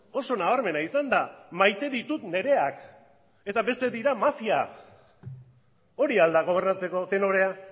oso nabarmena izan da maite ditut nireak eta besteak mafia dira hori al da gobernatzeko tenorea